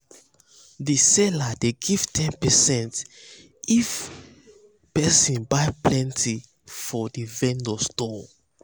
the seller dey give ten percent if person buy plenty for the vendor store